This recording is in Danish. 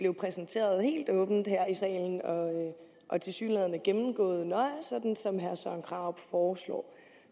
præsenteret helt åbent her i salen og tilsyneladende gennemgået nøje sådan som herre søren krarup foreslår